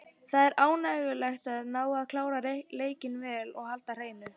Það er ánægjulegt að ná að klára leikinn vel og halda hreinu.